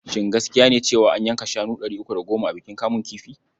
Shin gaskiya ne cewa an yanka shanu ɗari uku da goma a bikin kamun kifi?